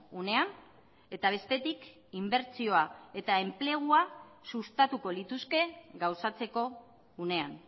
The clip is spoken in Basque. unean eta bestetik inbertsioa eta enplegua sustatuko lituzke gauzatzeko unean